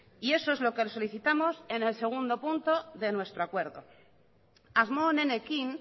y eso es lo que solicitamos en el segundo punto de nuestro acuerdo asmo onenekin